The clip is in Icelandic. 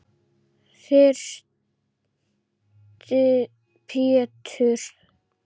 Þyrsti Pétur.